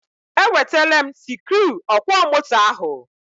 E wetele m sikruuọkwọmoto ahụ.